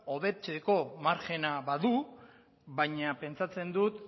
hobetzeko margena badu baina pentsatzen dut